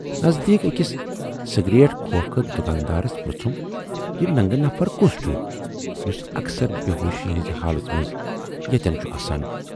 نٔزدیٖک ٲکِس سِگریٹ کھۅکھٕ دُکاندارس پرژُھم، یہِ ننگہٕ نفر کُس چھُ، یُس اکثر بے ہوشی ہٕنزِ حالٕژ منز ییتٮ۪ن چھُ آسان؟